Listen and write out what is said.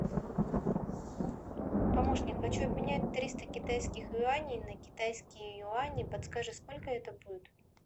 помощник хочу обменять триста китайских юаней на китайские юани подскажи сколько это будет